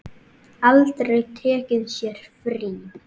Aldrei tekið sér frí.